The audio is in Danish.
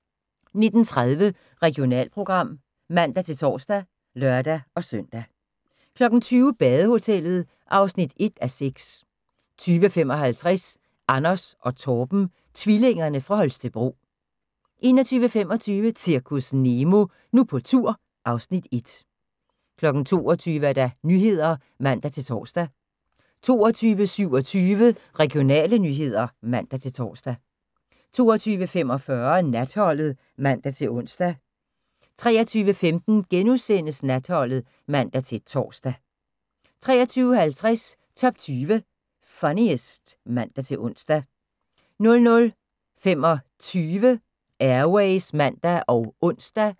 19:30: Regionalprogram (man-tor og lør-søn) 20:00: Badehotellet (1:6) 20:55: Anders & Torben – tvillingerne fra Holstebro 21:25: Zirkus Nemo – Nu på tur (Afs. 1) 22:00: Nyhederne (man-tor) 22:27: Regionale nyheder (man-tor) 22:45: Natholdet (man-ons) 23:15: Natholdet *(man-tor) 23:50: Top 20 Funniest (man-ons) 00:25: Air Ways (man og ons)